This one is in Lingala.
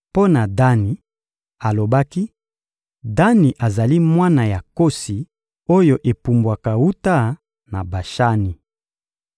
Mpo na Dani, alobaki: «Dani azali mwana ya nkosi oyo epumbwaka wuta na Bashani.»